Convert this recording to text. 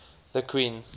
the queen